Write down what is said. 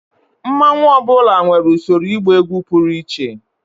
mmanwu ọ bụla nwere usoro ịgba egwu pụrụ iche